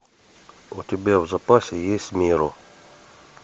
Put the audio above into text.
у тебя в запасе есть меру